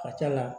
A cɛna